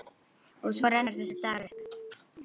Og svo rennur þessi dagur upp.